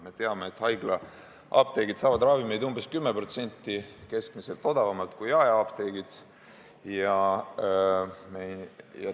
Me teame, et haiglaapteegid saavad ravimeid keskmiselt umbes 10% odavamalt kui jaeapteegid.